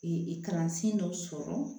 kalansen dɔ sɔrɔ